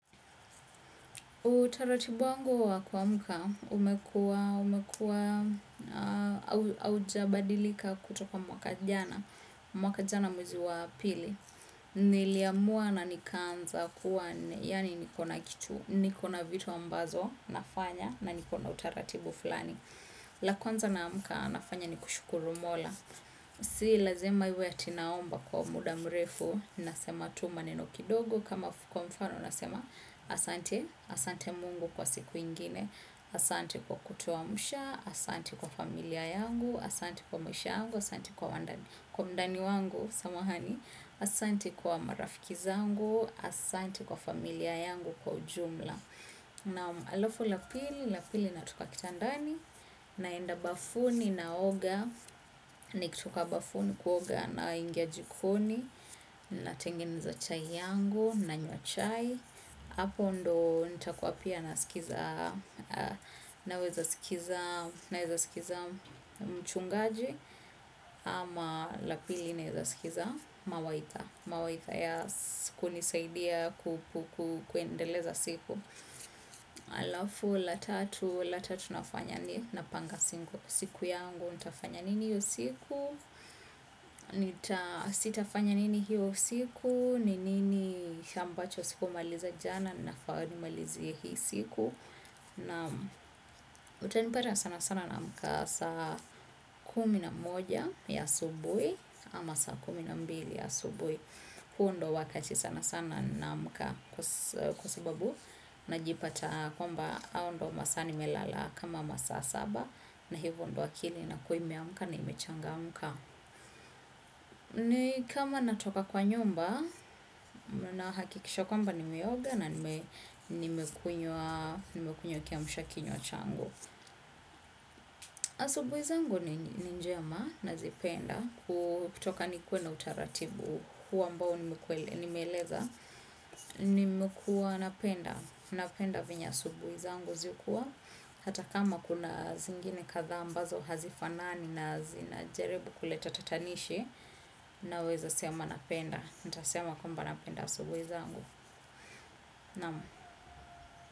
Utaratibu wangu waku amuka umekuwa, umekuwa aujabadilika kutoka mwaka jana. Mwaka jana mwezi wa pili. Niliamua na nikanza kuwa ni, yani niko na kitu, niko na vitu ambazo nafanya na niko na utaratibu fulani. La kwanza na amuka nafanya ni kushukuru mola si lazima iwe ati naomba kwa muda mrefu, nasema tu maneno kidogo kama fu, kwa mfano nasema asante, asante mungu kwa siku ingine asante kwa kutu amusha, asante kwa familia yangu, asante kwa maisha yangu, asante kwa wandani, kwa undani wangu, samahani. Asante kwa marafiki zangu, asante kwa familia yangu kwa ujumla naam alafu la pili, la pili natoka kitandani naenda bafuni na oga nikitoka bafuni kuoga na ingia jikoni na tengeneza chai yangu nanywa chai. Apo ndo nitakuwa pia nasikiza, naweza sikiza, naeza sikiza mchungaji, ama la pili na eza sikiza mawaitha, mawaitha ya kunisaidia kuendeleza siku alafu, la tatu, la tatu nafanya ni napanga siku yangu nitafanya nini hiyo siku nita, sitafanya nini hiyo siku ni nini, ambacho siku maliza jana ninafaa nimalizie hii siku naam, utanipata sana sana naamuka saa kumi na moja ya asubuhi ama saa kumi na mbili ya asubuhi huo ndo wakati sana sana nina amuka kwa sababu na jipata kwamba hao ndo masaa nimelala kama masaa saba na hivo ndo akili inakuwa imeamuka na imechangamuka ni kama natoka kwa nyumba nahakikisha kwamba nimeoga na nimekunywa, nimekunywa kiamsha kinywa changu. Asubui zangu ni njema na zipenda kutoka nikuwe na utaratibu huwo ambao nimeeleza nimekuwa napenda, napenda venye asubui zangu zi hukuwa hata kama kuna zingine kadhaa ambazo hazifanani na zina jaribu kuleta tatanishi na weza sema napenda, ntasema kwamba napenda asubui zangu, namu.